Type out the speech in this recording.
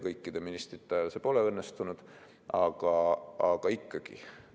Kõikide ministrite ajal see ei õnnestunud, aga ikkagi.